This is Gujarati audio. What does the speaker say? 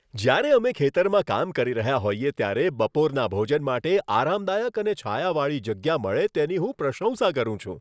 જ્યારે અમે ખેતરમાં કામ કરી રહ્યા હોઈએ ત્યારે બપોરના ભોજન માટે આરામદાયક અને છાયાવાળી જગ્યા મળે, તેની હું પ્રશંસા કરું છું.